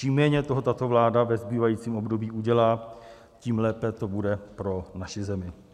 Čím méně toho tato vláda ve zbývajícím období udělá, tím lépe to bude pro naši zemi.